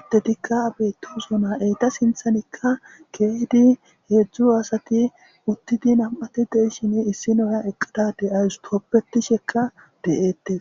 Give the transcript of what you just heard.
attetikka abetu zona eyta sinthanikka keedi heedzdzu asati uttidi nam7ati deishin issi nooyan eqqadadey ayus toppetishekka deyeettes.